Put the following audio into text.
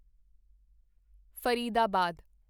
Faridabad